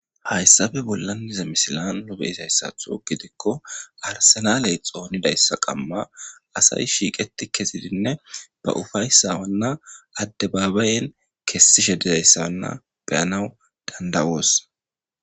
Hayssafe bollan dize misilan nobe izayssatho gidikko arsenaley xoonidayssa qamma asay shiiqeti kezidinne ba ufayssa wanna addebaabayen kessishe dizayssawanna beyanawu dandawoos.